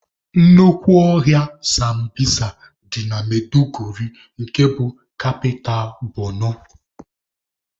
Nnukwu ọhịa sambisa dị na Maiduguri nke bụ kapita Borno